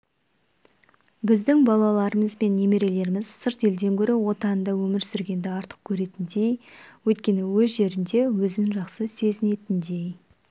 біздің балаларымыз бен немерелеріміз сырт елден гөрі отанында өмір сүргенді артық көретіндей өйткені өз жерінде өзін жақсы сезінетіндей